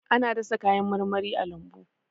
Ana dasa kayan marmari a lambu.